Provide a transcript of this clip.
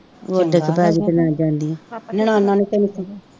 ਉੱਡ ਕੇ ਪੈ ਗਈ ਲਈ ਜਾਂਦੀ ਹੈ, ਨਨਾਣਾਂ ਨੇ ਤੈਨੂੰ ਕੀ ਕਿਹਾ